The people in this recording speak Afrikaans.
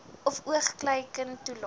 of oogluikend toelaat